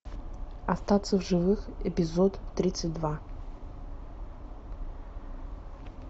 остаться в живых эпизод тридцать два